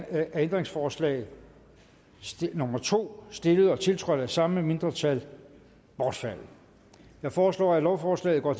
er ændringsforslag nummer to stillet og tiltrådt af samme mindretal bortfaldet jeg foreslår at lovforslaget går